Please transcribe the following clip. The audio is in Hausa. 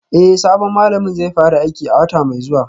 Eh sabon malamin zai fara aiki a wata mai zuwa